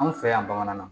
Anw fɛ yan bamanan na